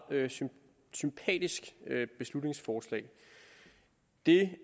sympatisk beslutningsforslag det